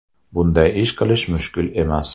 Bunday ish qilish mushkul emas.